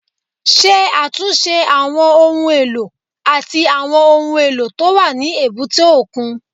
Ṣe àtúnṣe àwọn ohun èlò àti àwọn ohun èlò tó wà ní èbúté òkun